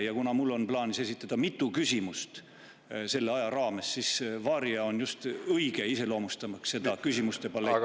Ja kuna mul on plaanis esitada mitu küsimust selle aja raames, siis "Varia" on just õige iseloomustamaks seda küsimuste paletti.